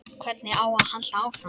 Hvernig á að halda áfram?